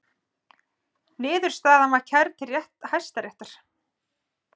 Niðurstaðan var kærð til Hæstaréttar